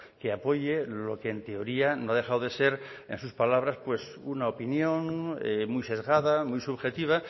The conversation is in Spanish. que apoye lo que en teoría no ha dejado de ser en sus palabras una opinión muy sesgada muy subjetiva